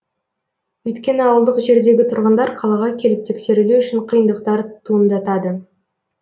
өйткені ауылдық жердегі тұрғындар қалаға келіп тексерілу үшін қиындықтар туындатады